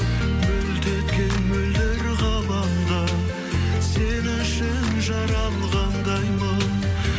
мөлт еткен мөлдір ғаламда сен үшін жаралғандаймын